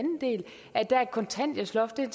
at der er et kontanthjælpsloft og